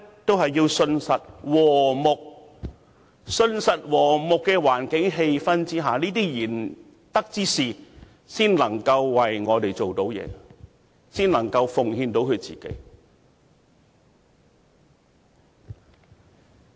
只有在信實和睦的環境氣氛下，賢德之士才能為我們做事，才能奉獻自己。